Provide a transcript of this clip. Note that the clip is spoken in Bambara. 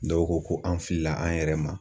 Dɔw ko ko an filila an yɛrɛ ma.